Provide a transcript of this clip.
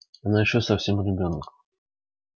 она ещё совсем ребёнок